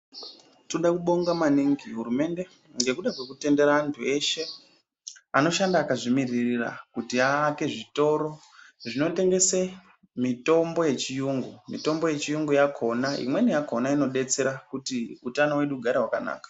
Toda kubonga maningi hurumende, nekutendera antu eshe anoshanda akazvimiririra kuti aake zvitoro, zvinotengese mitombo yechiyungu. Mitombo yechiyungu yakhona, imweni yakhona inodetsera kuti utano wedu ugare wakanaka.